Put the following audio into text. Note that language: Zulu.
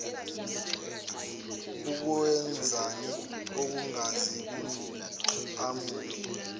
ukungezwani okungase kuqhamuke